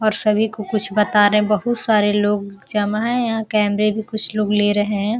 और सभी को कुछ बता रहे हैं बहुत सरे लोग जमा हैं यहाँ कैमरे भी कुछ लोग ले रहे है ।